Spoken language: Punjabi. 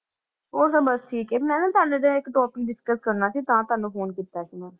ਹੋਰ ਤਾਂ ਬਸ ਠੀਕ ਹੈ ਮੈਂ ਨਾ ਇੱਕ topic discuss ਕਰਨਾ ਸੀ, ਤਾਂ ਤੁਹਾਨੂੰ phone ਕੀਤਾ ਸੀ ਮੈਂ।